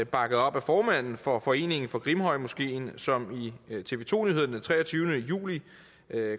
bakket op af formanden for foreningen for grimhøjmoskeen som i tv to nyhederne den treogtyvende juli